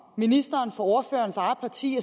ministeren fra ordførerens eget parti